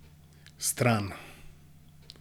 Stran!